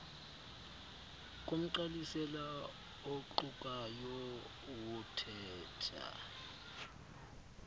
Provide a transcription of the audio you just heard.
komgqalisela oqukayo wothetha